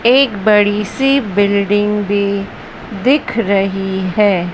एक बड़ी सी बिल्डिंग भी दिख रही है।